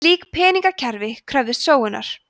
slík peningakerfi kröfðust sóunar